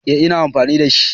Eh ina amfani da shi